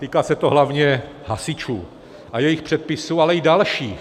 Týká se to hlavně hasičů a jejich předpisů, ale i dalších.